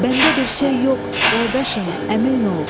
Bəndə bir şey yox, qardaşım, əmin ol.